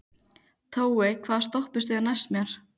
Tói, hvaða stoppistöð er næst mér?